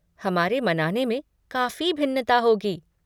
हमारे मनाने में काफ़ी भिन्नता होगी।